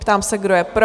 Ptám se, kdo je pro?